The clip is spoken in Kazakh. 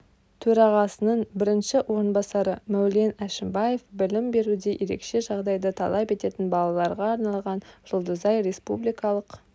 төрағасының бірінші орынбасары мәулен әшімбаев білім беруде ерекше жағдайды талап ететін балаларға арналған жұлдызай республикалық